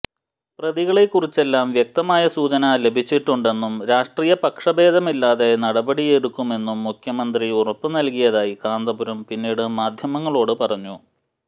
പ്രതികളെ കുറിച്ചെല്ലാം വ്യക്തമായ സൂചന ലഭിച്ചിട്ടുണ്ടെന്നും രാഷ്ട്രീയ പക്ഷഭേദമില്ലാതെ നടപടിയെടുക്കുമെന്നും മുഖ്യമന്ത്രി ഉറപ്പ് നല്കിയതായി കാന്തപുരം പിന്നീട് മാധ്യമങ്ങളോട് പറഞ്ഞു